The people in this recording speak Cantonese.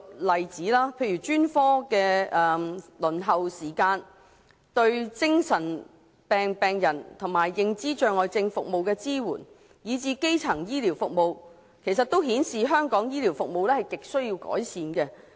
例如專科輪候時間、對精神病病人和認知障礙症服務的支援，以至基層醫療服務方面，均顯示香港的醫療服務亟需改善。